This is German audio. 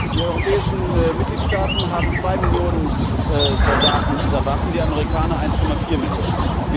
Die europäischen Mitgliedstaaten haben 2 Millionen Soldaten unter Waffen, die Amerikaner 1,4 Millionen.